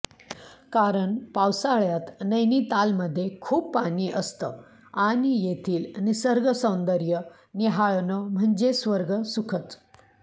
कारण पावसाळ्यात नैनितालमध्ये खूप पाणी असतं आणि येथील निसर्गसौंदर्य न्याहाळणं म्हणजे स्वर्ग सुखचं